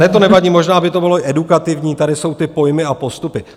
Ne, to nevadí, možná by to bylo i edukativní , tady jsou ty pojmy a postupy.